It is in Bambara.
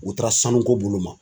U taara sanuko bolo ma.